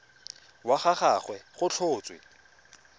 wa ga gagwe go tlhotswe